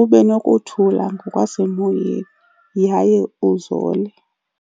ube nokuthula ngokwasemoyeni yaye uzole.